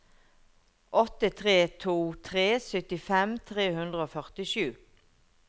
åtte tre to tre syttifem tre hundre og førtisju